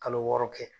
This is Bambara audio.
Kalo wɔɔrɔ kɛ